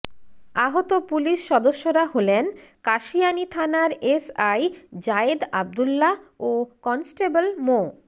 আহত পুলিশ সদস্যরা হলেন কাশিয়ানী থানার এসআই জায়েদ আব্দুল্লাহ ও কনেস্টেবল মো